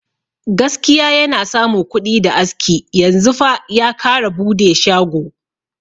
Gaskiya yana samu kuɗi da aski, yanzu fa ya kara bude shago uku.